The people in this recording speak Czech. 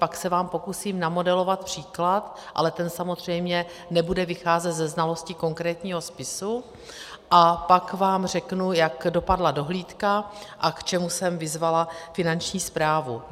Pak se vám pokusím namodelovat příklad, ale ten samozřejmě nebude vycházet ze znalosti konkrétního spisu, a pak vám řeknu, jak dopadla dohlídka a k čemu jsem vyzvala Finanční správu.